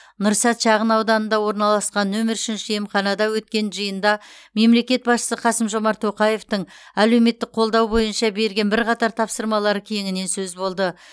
нұрсәт шағынауданында орналасқан нөмірі үшінші емханада өткен жиында мемлекет басшысы қасым жомарт тоқаевтың әлеуметтік қолдау бойынша берген бірқатар тапсырмалары кеңінен сөз болды